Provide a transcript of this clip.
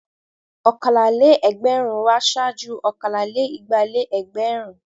Ọ̀kàlá-lé-ẹgbẹrún wá ṣáájú ọ̀kan-lé-igba-lé-ẹgbẹ̀rún.